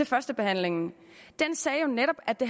førstebehandlingen sagde jo netop at det